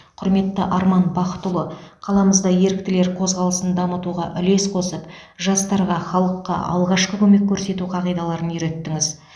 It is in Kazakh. құрметті арман бақытұлы қаламызда еріктілер қозғалысын дамытуға үлес қосып жастарға халыққа алғашқы көмек көрсету қағидаларын үйреттіңіз